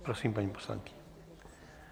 Prosím, paní poslankyně.